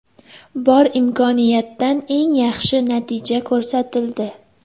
Bor imkoniyatdan eng yaxshi natija ko‘rsatildi.